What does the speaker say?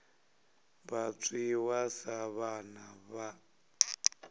vha dzhiwa sa vhana vha